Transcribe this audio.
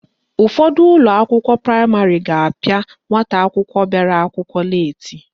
Ụfọdụ ụlọakwụkwọ praịmarị ga-apịa nwata akwụkwọ bịara akwụkwọ leeti